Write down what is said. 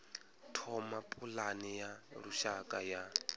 thoma pulane ya lushaka ya